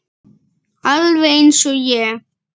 Alveg eins og ég!